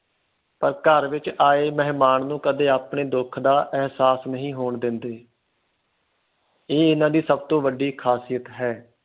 ਘਰ ਵਿਚ ਆਏ ਮਹਿਮਾਨ ਨੂੰ ਕਦੇ ਆਪਣੇ ਦੁੱਖ ਦਾ ਇਹਸਾਸ ਨਹੀਂ ਹੋਣ ਦਿੰਦੇ ਇਹ ਇਹਨਾਂ ਦੀ ਸਭ ਤੋਂ ਵੱਡੀ ਖ਼ਾਸਿਯਤ ਹੈ